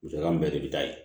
Musaka min bɛɛ de bɛ taa ye